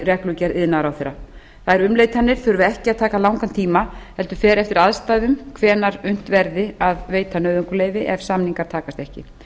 reglugerð iðnaðarráðherra þær umleitanir þurfa ekki að taka langan tíma heldur fer eftir aðstæðum hvenær unnt verði að veita nauðungarleyfi ef samningar takast ekki